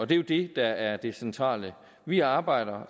det er jo det der er det centrale vi arbejder